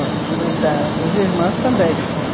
Os filhos da dos irmãos também.